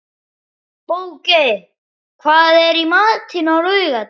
Bogey, hvað er í matinn á laugardaginn?